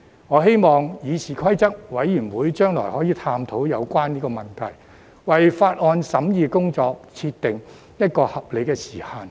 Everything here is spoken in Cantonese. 我希望議事規則委員會將來可以探討有關問題，為法案審議工作設定一個合理時限。